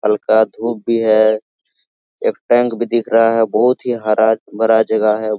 हल्का धुप भी है एक टैंक भी दिख रहा है बहुत ही हरा-भरा जगह है।